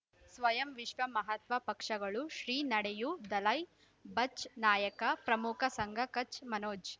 ಸ್ವಯಂ ವಿಶ್ವ ಮಹಾತ್ಮ ಪಕ್ಷಗಳು ಶ್ರೀ ನಡೆಯೂ ದಲೈ ಬಚ್ ನಾಯಕ ಪ್ರಮುಖ ಸಂಘ ಕಚ್ ಮನೋಜ್